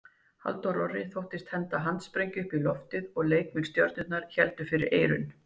Halldór Orri þóttist henda handsprengju upp í loftið og leikmenn Stjörnunnar héldu fyrir eyrun.